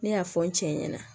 Ne y'a fɔ n cɛ ɲɛna